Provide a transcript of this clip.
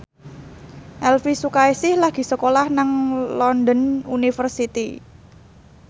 Elvi Sukaesih lagi sekolah nang London University